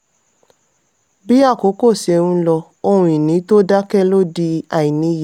bí àkókò ṣe ń lọ: ohun ìní tó dákẹ́ ló di àìníye.